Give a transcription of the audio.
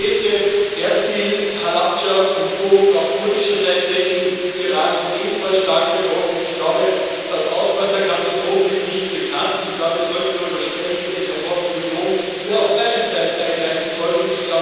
Die Städte Erbil, Halabdscha und Duhok auf kurdischer Seite in Irak sind ebenfalls stark betroffen. Ich glaube, das Ausmaß der Katastrophe ist nicht bekannt, und ich glaube, wir sollten darüber sprechen, in welcher Form die Union hier auf beiden Seiten eingreifen sollte.